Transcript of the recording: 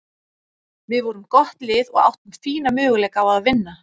Við vorum gott lið og áttum fína möguleika á að vinna.